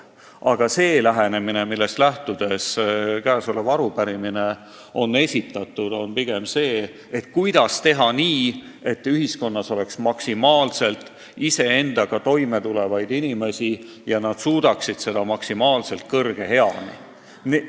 Aga käesolev arupärimine on esitatud pigem eesmärgiga küsida, kuidas teha nii, et ühiskonnas oleks maksimaalselt iseendaga toime tulevaid inimesi ja et nad suudaksid seda võimalikult kõrge eani.